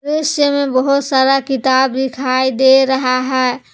दृश्य में बहोत सारा किताब दिखाई दे रहा है।